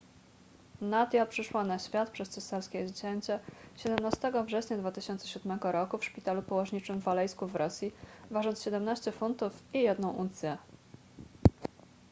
nadia przyszła na świat przez cesarskie cięcie 17 września 2007 r w szpitalu położniczym w alejsku w rosji ważąc 17 funtów i 1 uncję